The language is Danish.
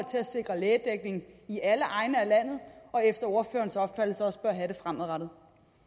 sikre lægedækning i alle egne af landet og efter ordførerens opfattelse også bør have det fremadrettet